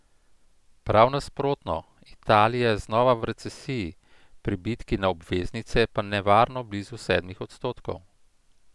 Prav nasprotno, Italija je znova v recesiji, pribitki na obveznice pa nevarno blizu sedmih odstotkov.